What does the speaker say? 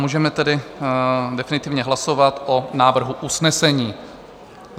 Můžeme tedy definitivně hlasovat o návrhu usnesení.